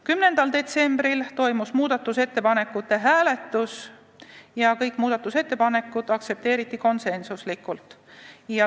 10. detsembril toimus muudatusettepanekute hääletus ja kõik muudatusettepanekud aktsepteeriti konsensusega.